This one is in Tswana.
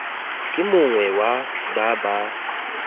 ke mongwe wa ba ba